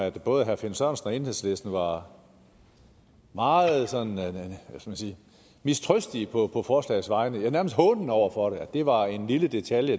at både herre finn sørensen og enhedslisten var meget mistrøstige på forslagets vegne ja nærmest hånende over for det at det var en lille detalje